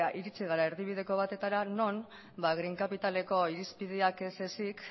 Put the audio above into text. iritsi gara erdibideko batetara non green capitaleko irizpideak ez ezik